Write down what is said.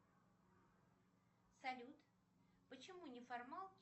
салют почему неформалки